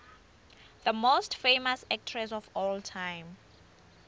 the most famous actress of all time